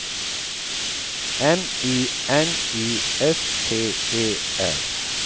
M I N I S T E R